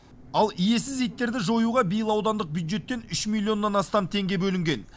ал иесіз иттерді жоюға биыл аудандық бюджеттен үш миллионнан астам теңге бөлінген